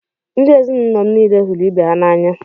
Ndị ezinụlọ m niile hụrụ ibe ha n’anya.